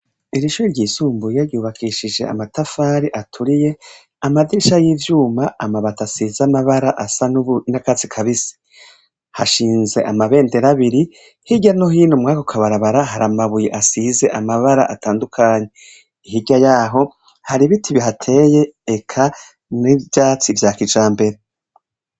Iri shure ryisumbuye ryubakishije amatafari aturiye, amadirisha y'ivyuma, amabati asize amabara asa n'akatsi kabisi. Hashinze amabendera abiri, hirya no hino mw'ako kabarabara, hari amabuye asize amabara atandukanye. Hirya yaho, hari ibiti bihateye, eka n'ivyatsi vya kijambere.